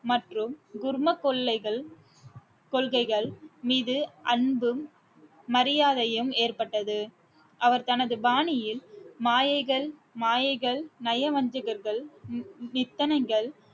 மற்றும் குர்ம கொல்லைகள் கொள்கைகள் மீது அன்பும் மரியாதையும் ஏற்பட்டது அவர் தனது பாணியில் மாயைகள் மாயைகள் நயவஞ்சகர்கள் நி~ நித்தனைகள்